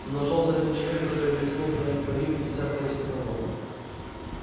нашёлся один человек который рискнул принять пари в пятьдесят против одного